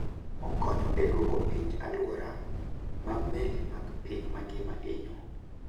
Okonyo e duoko piny alwora ma meli mag piny mangima hinyo.